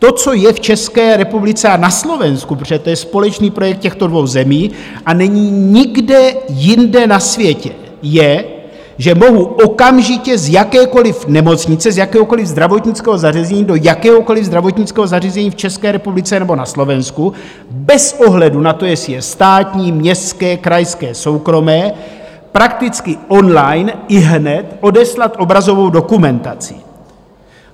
To, co je v České republice a na Slovensku, protože to je společný projekt těchto dvou zemí, a není nikde jinde na světě, je, že mohu okamžitě z jakékoliv nemocnice, z jakéhokoliv zdravotnického zařízení do jakéhokoliv zdravotnického zařízení v České republice nebo na Slovensku bez ohledu na to, jestli je státní, městské, krajské, soukromé, prakticky on-line, ihned odeslat obrazovou dokumentaci.